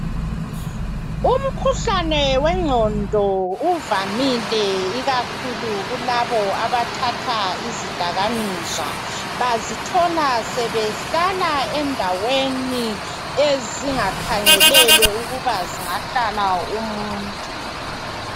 Umkhuhlane wengqondo uvamile ikakhulu kulabo abathatha izidakamizwa bazithola sebehlala endaweni ezingakhangelelwe ukuba zingahlala umuntu.